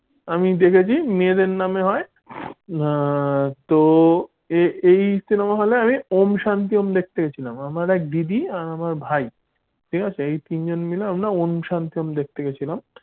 আমি দেখেছি মেয়েদের নামে হয় তো এই cinema hall আমি ওম শান্তি ওম দেখতে গিয়েছিলাম আমার একটা দিদি আর ভাই এই ঠিক আছে এই তিনজন মিলে আমরা ওম শান্তি ওম দেখতে গিয়েছিলাম।